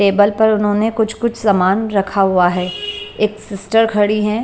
Table पर उन्होंने कुछ-कुछ सामान रखा हुआ है एक सिस्टर खड़ी हैं।